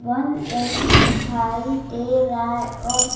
बन रही दिखाई दे रहा है और --